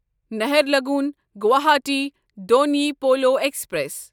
Naharlagun Guwahati Donyi Polo express